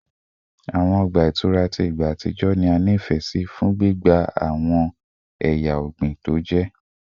Awọn ọgba itura ti igba atijọ ni a nifẹ si fun gbigba wọn ti awọn eya ọgbin toje